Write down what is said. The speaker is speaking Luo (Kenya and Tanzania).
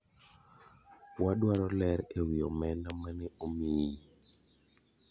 wadwaro ler ewi omenda mane omiyi.